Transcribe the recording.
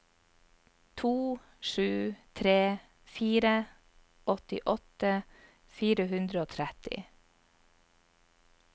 to sju tre fire åttiåtte fire hundre og tretti